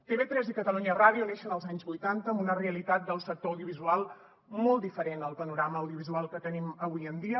tv3 i catalunya ràdio neixen als anys vuitanta amb una realitat del sector audiovisual molt diferent al panorama audiovisual que tenim avui en dia